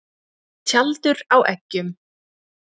Tjaldur á eggjum.